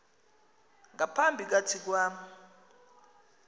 ngapha kathi kwam